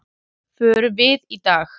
Förum við í dag?